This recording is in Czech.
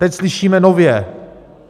Teď slyšíme nově: